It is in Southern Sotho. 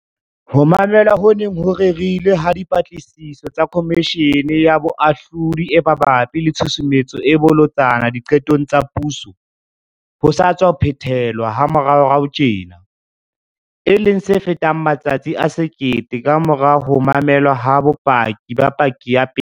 Ho mamelwa ho neng ho rerilwe ha Dipatlisiso tsa Komishene ya Boahlodi e mabapi le Tshusumetso e Bolotsana Diqetong tsa Puso ho sa tswa phethe-lwa moraorao tjena, e leng se fetang matsatsi a 1 000 kamora ho mamelwa ha bopaki ba paki ya pele.